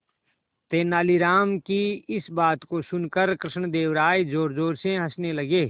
तेनालीराम की इस बात को सुनकर कृष्णदेव राय जोरजोर से हंसने लगे